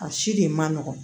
A si de ma nɔgɔn